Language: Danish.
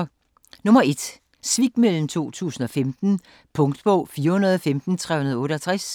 Svikmøllen 2015 Punktbog 415368